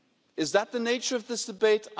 Is that the nature of this debate?